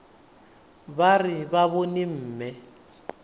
ba re ba bone mme